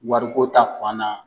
Wariko ta fan na